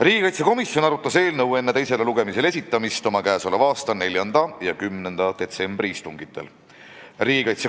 Riigikaitsekomisjon arutas eelnõu enne teisele lugemisele esitamist oma 4. ja 10. detsembri istungil.